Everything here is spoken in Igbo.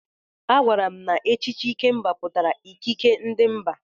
Agwara m na echichi Ikemba pụtara ikikere ndị mba.